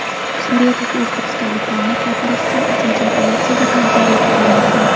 Suriyadagi o‘zbekistonliklarni qaytarish uchun uchinchi operatsiyaga tayyorgarlik ko‘rilmoqda.